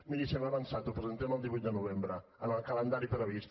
miri se m’ha avançat ho presentem el divuit de novembre amb el calendari previst